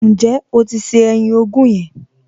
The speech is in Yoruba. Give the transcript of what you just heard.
Ǹjẹ́ o ti se ẹyin ogún yẹn?